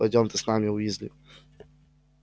пойдём ты с нами уизли